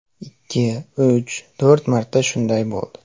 Ikki, uch, to‘rt marta shunday bo‘ldi.